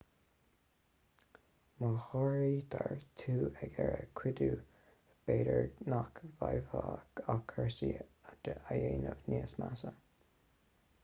má ghortaítear tú ag iarraidh cuidiú b'fhéidir nach bhféadfá ach cúrsaí a dhéanamh níos measa